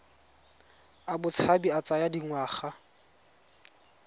a botshabi a tsaya dingwaga